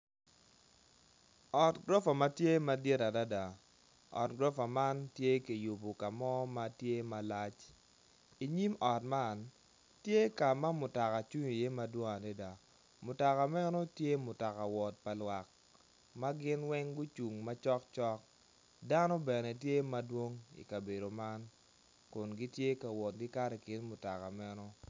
Ot gurufa ma tye madit adada ot gurofa man tye kiyubo ka mo ma tye malac inyim ot man, tye ka ma mutoka cung iye madwong adada mutoka meno tye mutoka wot pa lwak ma gin weng gucung macok cok dano bene tye madwong i kabedo man kun gitye ka wot gikato i kin mutoka meno.